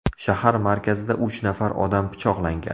Shahar markazida uch nafar odam pichoqlangan.